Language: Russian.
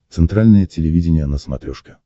центральное телевидение на смотрешке